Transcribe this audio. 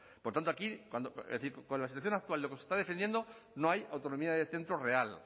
por tanto aquí con la situación actual lo que se está defendiendo no hay autonomía de centros real